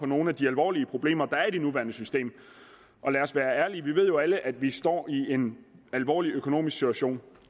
nogle af de alvorlige problemer der er i det nuværende system og lad os være ærlige vi ved jo alle at vi står i en alvorlig økonomisk situation